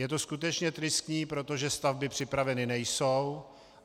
Je to skutečně tristní, protože stavby připraveny nejsou.